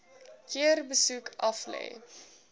keer besoek aflê